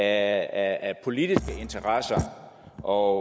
af politiske interesser og